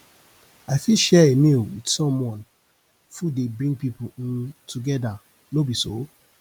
i fit share a meal with someone food dey bring pipo um together no be so